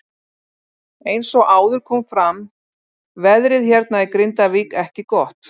Eins og áður kom fram veðrið hérna í Grindavík ekki gott.